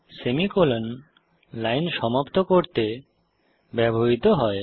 semicolon line সমাপ্ত করতে ব্যবহৃত হয়